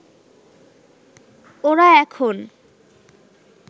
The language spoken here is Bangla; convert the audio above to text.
ওরা এখন